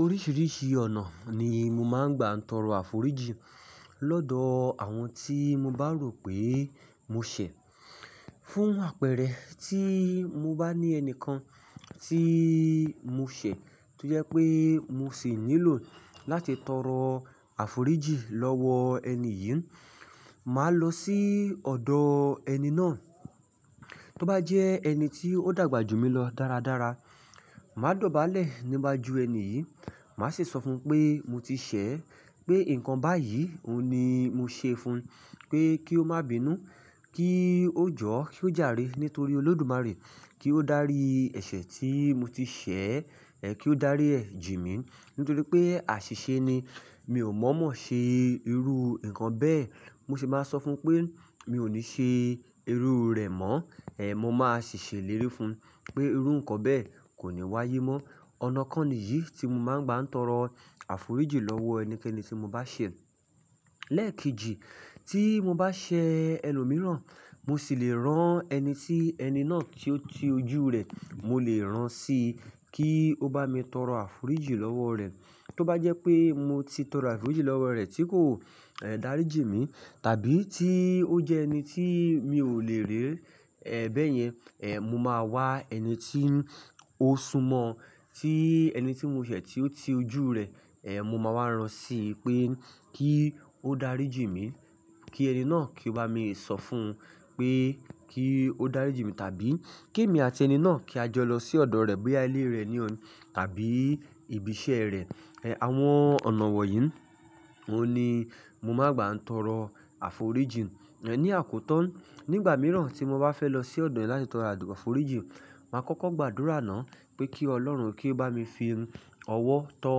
Oríṣiríṣi ọ̀nà ni mo máa ń gbà ń tọrọ àforíjì lọ́dọ̀ àwọn tí mo bá rò pé mo ṣẹ̀. Fún àpẹẹrẹ, tí mo bá ní ẹni kan tí mo ṣẹ̀ tó jẹ́ pé mo sì nílò láti tọrọ àforíjì lọ́wọ ẹni yìí, màá lọ sí ọ̀dọ̀ ẹni náà. Tó bá jẹ́ ẹni tí ó dàgbà jù mí lọ dáradára, màá dọ̀bálẹ̀ nígbà jú ẹni yìí. Màá sì sọ fún un pé mo ti ṣẹ̀, pé nǹkan báyìí ni mo ṣe fun, pé kí ó má bínú, kí ó jọ́, kí ó jàre nítorí Olódùmarè. Kí ó dárí ẹ̀ṣẹ̀ tí mo ti ṣẹ̀, kí ó dárí ẹ̀ jí mí nítorí pé àṣìṣe ni, mi ò mọ̀ mọ̀ ṣe irú nǹkan bẹ́ẹ̀. Mo sì máa sọ fún un pé mi ò ní ṣe irú rẹ̀ mọ́. Mo máa sì ṣèlérí fún un pé irú nǹkan bẹ́ẹ̀ kò ní wáyé mọ́. Ọ̀nà kan nìyí tí mo máa ń gbà ń tọrọ àforíjì lọ́wọ ẹnikẹ́ni tí mo bá ṣẹ̀. Lẹ́ẹ̀kejì, tí mo bá ṣẹ̀ ẹlòmíràn, mo sì lè rán ẹni tí ẹni náà tí ó ti ojú rẹ̀, mo lè rán sí i kí ó bá mi tọrọ àforíjì lọ́wọ́ rẹ̀. Tó bá jẹ́ pé mo ti tọrọ àforíjì lọ́wọ́ rẹ̀ tí kò dárí jí mí tàbí tí ó jẹ́ ẹni tí mi ò lè rí, bẹ́ẹ̀ yẹn, mo máa wá ẹni tí ó súnmọ́ ti ẹni tí mo ṣẹ̀ tí ó ti ojú rẹ̀. Mo máa wá rán sí i pé kí ó dárí jí mi, kí ẹni náà kí ó bá mi sọ fún un pé kí ó dárí jí mi tàbí kí èmi àti ẹni náà kí a jọ lọ sí ọ̀dọ̀ rẹ̀, boya ile rẹ̀ ní ọ̀ tàbí ibi iṣẹ́ rẹ̀. Àwọn ọ̀nà wọ̀ yìí ni mo máa ń gbà ń tọrọ àforíjì. Ni àkótan nígbà mìíràn tí mo bá fẹ́ lọ sí ọ̀dọ̀ rẹ̀ láti tọrọ àforíjì, màá kọ́kọ́ gbàdúrà náà pé kí Ọlọ́run kí ó bá mi fi ọwọ́ tọ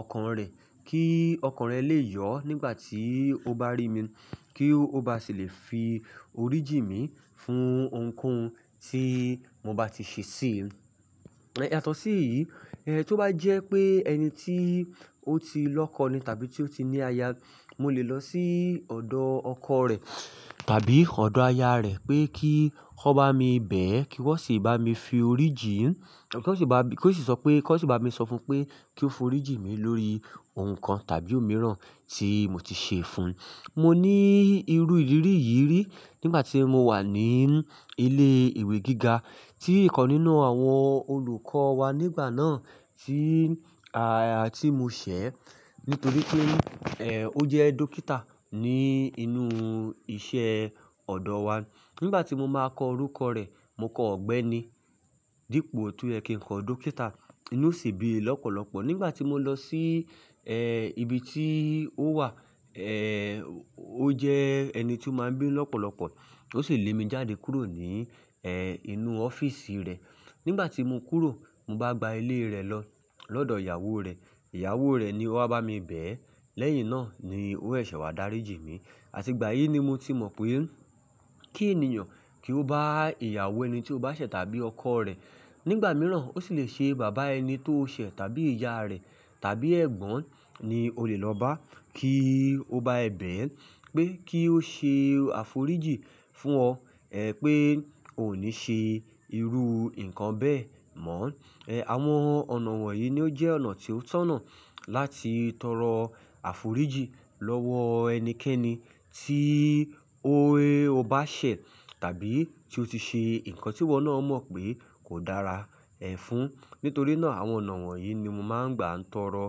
ọkàn rẹ̀ kí ọkàn rẹ̀ lè yọ̀ nígbà tí ó bá rí mi, kí ó bá sì lè fi orí jí mi fún ohunkóhun tí mo bá ti ṣe sí i. Yatọ̀sí eyìí, tó bá jẹ́ pé ẹni tí ó ti lọ́kọ ni tàbí tí ó ti ní aya, mo lè lọ sí ọ̀dọ̀ ọkọ rẹ̀ tàbí ọ̀dọ̀ aya rẹ̀ pé kí ó bá mi bẹ̀ ẹ́, kí wọ́n sì bá mi fi orí jí n. Kí ó sì sọ pé kí ó sì bá mi sọ fún un pé kí ó forí jí mi lórí nǹkan tàbí òmíràn tí mo ti ṣe fun. Mo ní irú ìrírí yìí rí nígbà tí mo wà ní ilé ìwé gíga tí ìkan nínú àwọn olùkọ́ wa nígbà náà tí mo ṣẹ̀ nítorí pé ó jẹ́ dókítà ní inú iṣẹ́ ọ̀dọ̀ wa. Nígbà tí mo máa kọ orúkọ rẹ̀, mo kọ ọ̀gbẹ́ni dípò ti o ye kí n kọ dókítà. Inú sì bí i lọ́pọ̀lọ́pọ̀. Nígbà tí mo lọ sí ibi tí ó wà, ó jẹ́ ẹni tí ó máa ń bí lọ́pọ̀lọ́pọ̀. Ó sì lé mi jáde kúrò ní inú ọ́fíìsì rẹ̀. Nígbà tí mo kúrò, mo bá gba ilé rẹ̀ lọ lọ́dọ̀ ìyàwó rẹ̀. Ìyàwó rẹ̀ ni ó wá bá mi bẹ̀ ẹ́. Lẹ́yìn náà ni ó sese wá dárí jí mi. Àti ìgbà yìí ni mo ti mọ̀ pé kí ènìyàn kí ó bá ìyàwó ẹni tí ó bá ṣẹ̀ tàbí ọkọ rẹ̀. Nígbà mìíràn ó sì lè ṣe bàbá ẹni tó ṣẹ̀ tàbí ìyá rẹ̀ tàbí ẹ̀gbọ́n ni o lè lọ bá kí ó bá ẹ bẹ̀ ẹ́ pé kí ó ṣe àforíjì fún ọ pé ò ní ṣe irú nǹkan bẹ́ẹ̀ mọ́. Àwọn ọ̀nà wọ̀ yìí ni ó jẹ́ ọ̀nà tí ó tọ̀nà láti tọrọ àforíjì lọ́wọ ẹnikẹ́ni tí o bá ṣẹ̀ tàbí tí ó ti ṣe nǹkan tí wọ́n náà mọ̀ pé kò dára ẹ́ fún. Nítorí náà àwọn ọ̀nà wọ̀ yìí ni mo máa ń gbà ń tọrọ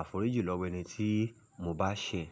àforíjì lọ́wọ́ ẹni tí mo bá ṣẹ̀.